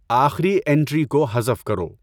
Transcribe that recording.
آخری انٹری کو حذف کرو